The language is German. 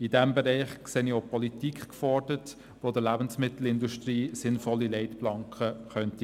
In diesem Bereich sehe ich auch die Politik gefordert, die der Lebensmittelindustrie sinnvolle Leitplanken geben könnte.